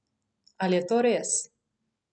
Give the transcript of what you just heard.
Ali je to res?